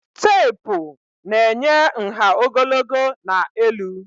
Teepụ na-enye nha ogologo na elu